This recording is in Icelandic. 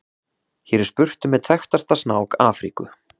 Hér er spurt um einn þekktasta snák Afríku.